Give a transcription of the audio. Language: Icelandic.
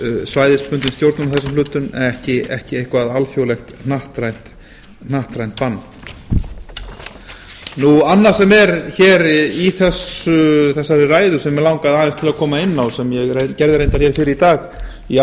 svæðisbundin stjórnun á þessum hlutum en ekki eitthvert alþjóðlegt hnattrænt bann annað sem er hér í þessari ræðu sem mig langaði aðeins til að koma inn á sem ég gerði reyndar hér fyrr í dag í